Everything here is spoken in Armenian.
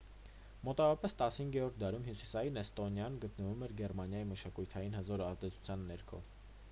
մոտավորապես 15-րդ դարում հյուսիսային էստոնիան գտնվում էր գերմանիայի մշակութային հզոր ազդեցության ներքո